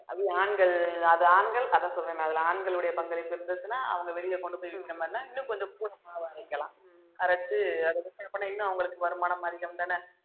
அது ஆண்கள் அது ஆண்கள் அத சொல்றேன்ல அதுல ஆண்களுடைய பங்களிப்பு இருந்துச்சுன்னா அவங்க வெளிய கொண்டு போய் இந்த மாதிரின்னா இன்னும் கொஞ்சம் அரைச்சு இன்னும் அவுங்களுக்கு வருமானம் அதிகம்தானே